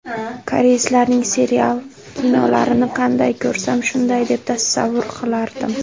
Koreyslarning serial, kinolarini qanday ko‘rsam, shunday deb tasavvur qilardim.